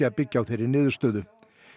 að byggja á þeirri niðurstöðu